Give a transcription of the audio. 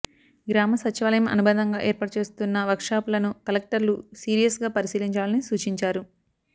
గ్రామ సచివాలయం అనుబంధంగా ఏర్పాటు చేస్తున్న వర్క్షాపులను కలెక్టర్లు సీరియస్గా పరిశీలించాలని సూచించారు